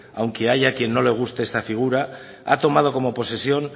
haya a quien no le guste esta figura ha tomado como posesión